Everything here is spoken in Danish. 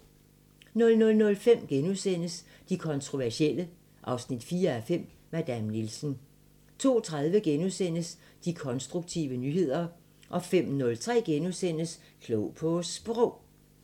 00:05: De kontroversielle 4:5 – Madame Nielsen * 02:30: De konstruktive nyheder * 05:03: Klog på Sprog *